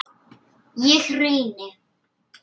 Ég reyni.